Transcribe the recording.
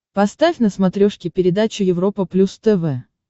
поставь на смотрешке передачу европа плюс тв